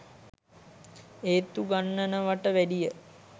ඒත්තු ගන්නනවට වැඩිය.